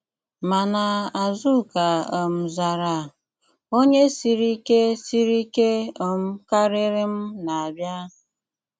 Mànà Àzùká um zàrà: “ ònye sìrì ìké sìrì ìké um karịrị m na-abịa.